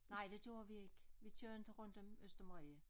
Nej det gjorde vi ikke vi kører inte rundt om Østermarie